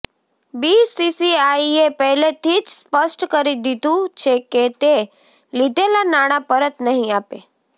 બીસીસીઆઈએ પહેલેથી જ સ્પષ્ટ કરી દીધું છે કે તે લીધેલા નાણાં પરત નહીં આપે